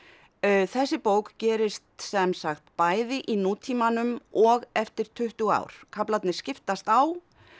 þessi bók gerist sem sagt bæði í nútímanum og eftir tuttugu ár kaflarnir skiptast á